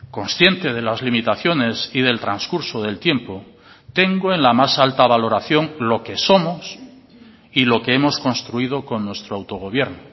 consciente de las limitaciones y del transcurso del tiempo tengo en la más alta valoración lo que somos y lo que hemos construido con nuestro autogobierno